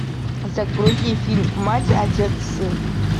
загрузи фильм мать отец сын